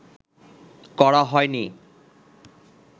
করা হয়নি